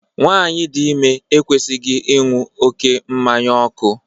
Nwaanyi dị ime ekwesịghị ịṅụ oké nkwụ ọkụ.